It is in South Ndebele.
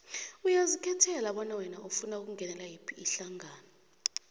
uyazikhethela bona wena ufuna ukungenela yiphi ihlangano